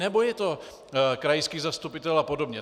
Nebo je to krajský zastupitel a podobně?